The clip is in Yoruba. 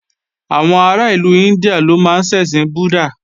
Àwọn ará ìlú India ló máa ń ṣẹ̀sìn búddàh